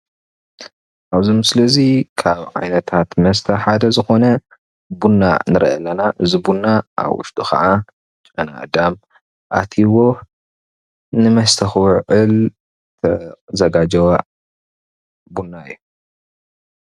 ኣብዙ ምስሊ እዙይ ካብ ዓይነታት መስተ ሓደ ዝኮነ ቡና ንሪኢ ኣለና እዙይ ቡና ኣብ ውሽጡ ከዓ ጨናኣዳም ኣትይዎ ንመስተ ክውዕል ዝተዘጋጀወ ቡና እዩ።